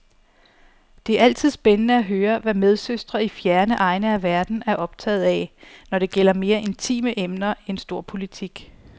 Det er altid spændende at høre, hvad medsøstre i fjerne egne af verden er optaget af, når det gælder mere intime emner end storpolitik.